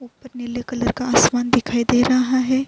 اپر نیلے کلر کا آسمان دکھائی دے رہا ہے۔